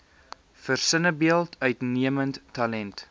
versinnebeeld uitnemende talent